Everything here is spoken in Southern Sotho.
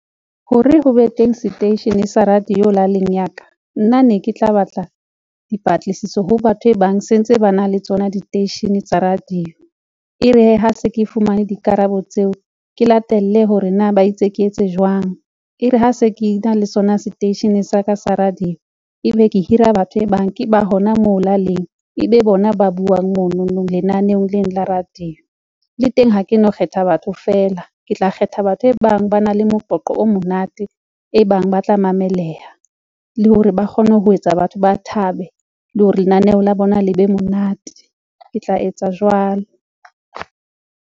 Ho re ho be teng seteishene sa radio laleng ya ka, nna ne ke tla batla dipatlisiso ho batho e bang se ntse ba na le tsona diteishene tsa radio. E re hee ha se ke fumane dikarabo tseo, ke latelle hore na ba itse ke etse jwang, e re ha se ke na le sona seteishene sa ka sa radio, ebe ke hira batho e bang ke ba hona moo laleng ebe bona ba buang monono lenaneong leno la radio. Le teng ha ke no kgetha batho fela, ke tla kgetha batho e bang ba na le moqoqo o monate, e bang ba tla mamelleha le hore ba kgone ho etsa batho ba thabe le hore lenaneo la bona le be monate, ke tla etsa jwalo.